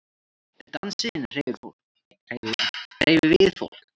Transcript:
Dansinn hreyfir við fólki.